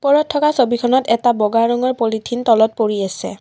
ওপৰত থকা ছবিখনত এটা বগা ৰঙৰ পলিথিন তলত পৰি আছে।